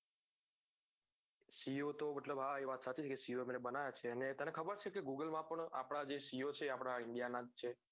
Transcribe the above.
co તો મતલબ હા એ વાત સાચી છે કે co એમને બનાવ્યા છે અને તને ખબર છે કે google માં પણ આપડા જે co છે એ આપડા india નાં જ છે